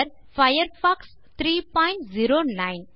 Firefox 309